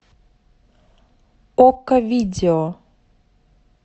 окко видео